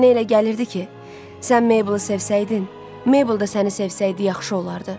Mənə elə gəlirdi ki, sən Meybelı sevsəydin, Meybel da səni sevsəydi yaxşı olardı.